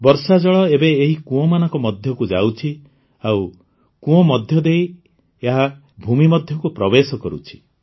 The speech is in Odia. ବର୍ଷାଜଳ ଏବେ ଏହି କୁଅଁମାନଙ୍କ ମଧ୍ୟକୁ ଯାଉଛି ଆଉ କୁଅଁ ମଧ୍ୟ ଦେଇ ଏହା ଭୂମି ମଧ୍ୟକୁ ପ୍ରବେଶ କରୁଛି